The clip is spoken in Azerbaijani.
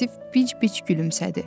Vasif bic-bic gülümsədi.